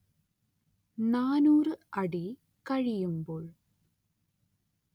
നാനൂറ് അടി കഴിയുമ്പോൾ